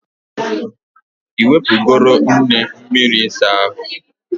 I nwepugoro nne m miri isa ahu?